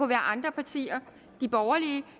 være andre partier de borgerlige